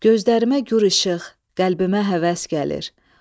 Gözlərimə nur işıq, qəlbimə həvəs gəlir.